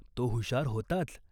तो हुशार होताच.